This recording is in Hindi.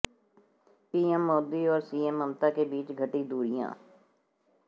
पीएम मोदी और सीएम ममता के बीच घटी दूरियां